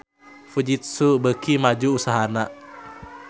Fujitsu beuki maju usahana